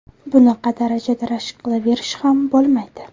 Bunaqa darajada rashk qilaverish ham bo‘lmaydi.